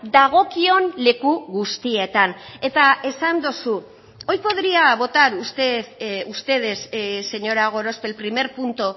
dagokion leku guztietan eta esan duzu hoy podría votar usted ustedes señora gorospe el primer punto